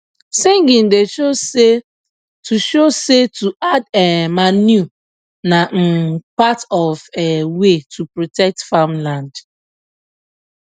singing da show say to show say to add um manure na um part of um way to protect farm land